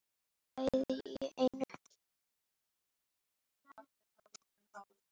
Bæði í einu.